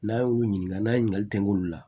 N'an y'olu ɲininka n'a ye ɲininkali kɛ olu la